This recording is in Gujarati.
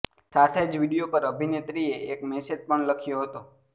સાથે જ વીડિયો પર અભિનેત્રીએ એક મેસેજ પણ લખ્યો હતો